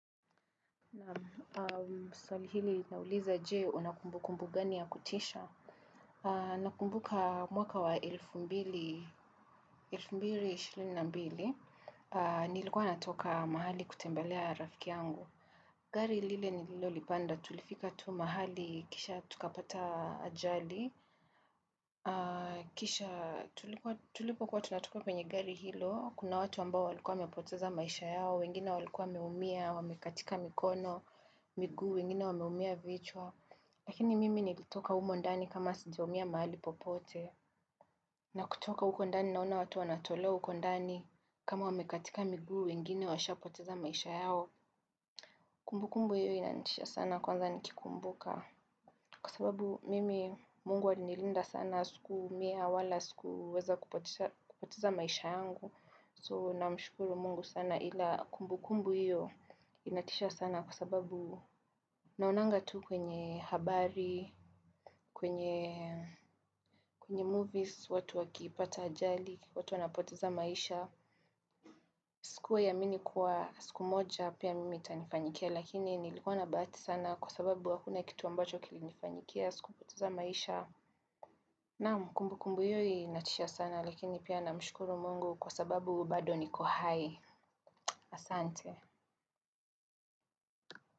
Naam, swali hili linauliza, je, una kumbukumbu gani ya kutisha? Nakumbuka mwaka wa 2022, nilikuwa natoka mahali kutembelea rafiki yangu. Gari lile nilolipanda tulifika tu mahali kisha tukapata ajali. Kisha tulipokuwa tunatoka kwenye gari hilo, kuna watu ambao walikuwa wamepoteza maisha yao, wengine walikuwa wameumia, wamekatika mikono, miguu, wengine wameumia vichwa. Lakini mimi nilitoka humo ndani kama sijaumia mahali popote. Na kutoka huko ndani naona watu wanatolewa huko ndani kama wamekatika miguu, wengine washapoteza maisha yao. Kumbukumbu hiyo inanitisha sana kwanza nikikumbuka. Kwa sababu mimi Mungu alinilinda sana sikuumia wala sikuweza kupoteza kupoteza maisha yangu. So namshukuru Mungu sana ila kumbukumbu hiyo inatisha sana kwa sababu naonanga tu kwenye habari kwenye kwenye movies, watu wakipata ajali, watu wanapoteza maisha. Sikuwahi amini kuwa siku moja pia mimi itanifanyikia lakini nilikuwa na bahati sana kwa sababu hakuna kitu ambacho kilinifanyikia sikupoteza maisha. Naam kumbukumbu hiyo inatisha sana lakini pia namshukuru Mungu kwa sababu bado niko hai asante.